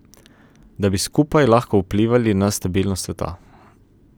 Da bi skupaj lahko vplivali na stabilnost sveta.